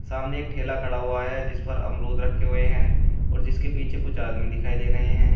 सामने एक ठेला खड़ा हुआ है जिस पर अमरुद रखे हुए हैं और जीसके पीछे कुछ आदमी दिखाई दे रहे हैं।